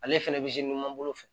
Ale fɛnɛ bɛ bolo fɛ